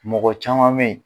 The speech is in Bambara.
Mɔgɔ caman bɛyi.